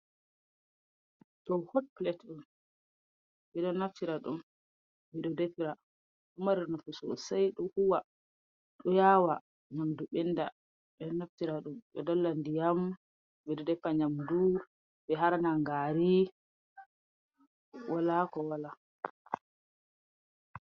Ɗum hot pilet on. Ɓe ɗo naftira ɗum, ɓe ɗo defira ɗo mari nafu sosai, ɗo huwa, ɗo yaawa nyamdu ɓenda. Ɓe ɗo naftira ɗum ɓe dolla ndiyam, ɓe ɗo defa nyamdu, ɓe harnan gaari, wala ko wala.